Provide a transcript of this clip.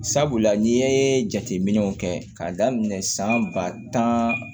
Sabula n'i ye jateminɛw kɛ k'a daminɛ san ba tan